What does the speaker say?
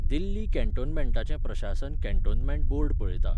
दिल्ली कँटोनमँटाचें प्रशासन cantonment board पळयता.